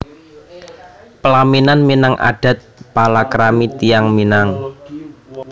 Pelaminan Minang adat palakrami tiyang Minang